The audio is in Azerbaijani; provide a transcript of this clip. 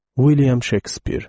William Şekspir.